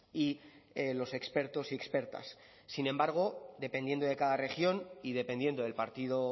y los expertos y expertas sin embargo dependiendo de cada región y dependiendo del partido